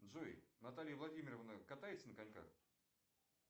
джой наталья владимировна катается на коньках